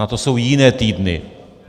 Na to jsou jiné týdny.